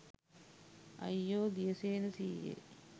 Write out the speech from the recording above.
අයියෝ දියසේන සීයේ